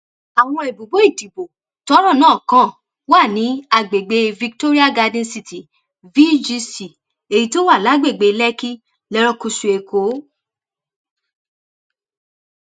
àwọn ibùbọ ìdìbò tọrọ náà kàn wà ní àgbègbè victoria garden city vgc èyí tó wà lágbègbè lèkìkì lerékùṣù èkó